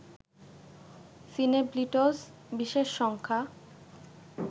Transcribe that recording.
সিনেব্লিটজ বিশেষ সংখ্যা